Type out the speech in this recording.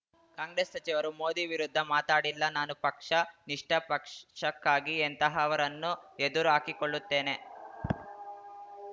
ಕಾಂಗ್ರೆಸ್‌ ಸಚಿವರು ಮೋದಿ ವಿರುದ್ಧ ಮಾತಾಡಿಲ್ಲ ನಾನು ಪಕ್ಷ ನಿಷ್ಠ ಪಕ್ಷಕ್ಕಾಗಿ ಎಂತಹವರನ್ನೂ ಎದುರು ಹಾಕಿಕೊಳ್ಳುತ್ತೇನೆ